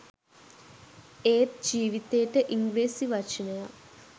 ඒත් ජීවිතේට ඉංග්‍රීසි වචනයක්